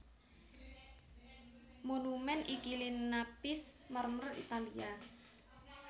Monumèn iki linapis marmer Italia